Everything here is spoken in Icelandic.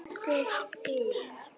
Langir dagar, volk og vosbúð.